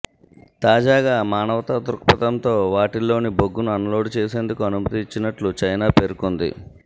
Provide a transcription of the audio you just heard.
తాజాగా మానవతా దృక్పథంతో వాటిల్లోని బొగ్గును అన్లోడ్ చేసేందుకు అనుమతి ఇచ్చినట్లు చైనా పేర్కొంది